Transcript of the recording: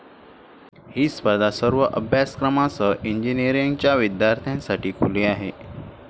ही स्पर्धा सर्व अभ्यासक्रमांसह इंजिनिअरींगच्या विद्यार्थ्यांसाठी खुली आहे.